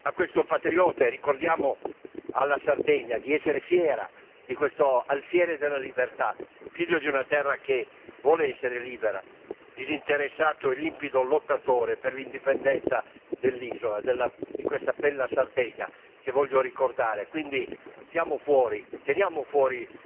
Onore a questo patriota, e ricordiamo alla Sardegna di essere fiera di questo alfiere della libertà, figlio di una terra che vuole essere libera, disinteressato e limpido lottatore per l'indipendenza dell'isola, di questa bella Sardegna, che voglio ricordare.